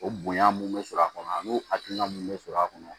O bonya mun bɛ sɔrɔ a kɔnɔ ani o hakilina mun bɛ sɔrɔ a kɔnɔ